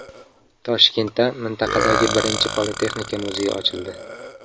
Toshkentda mintaqadagi birinchi Politexnika muzeyi ochildi.